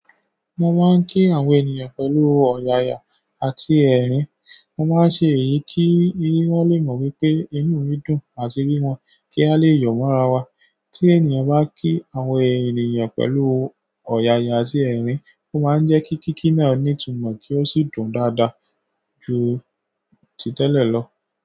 Wọ́n máa ń kí àwọn ènìyàn pẹ̀lú ọ̀yàyà àti ẹ̀rín. Wọ́n máa ń ṣe èyí kí wọ́n lè mọ̀ wípé inú mi dùn àti bí wọ́n kí a lè yọ̀wọ́ ra wa. Tí ènìyàn bá kí àwọn ènìyàn pẹ̀lú ọ̀yàyà àti ẹ̀rín, ó máa ń jẹ́ kí kíkí náà ní ìtumọ̀ kí ó sì dùn dáadáa ju ti tẹ́lẹ̀ lọ.